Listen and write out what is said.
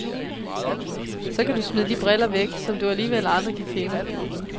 Så kan du smide de briller væk, som du alligevel aldrig kan finde.